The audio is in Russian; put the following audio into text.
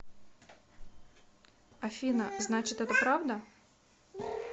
афина значит это правда